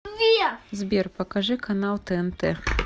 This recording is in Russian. сбер покажи канал тнт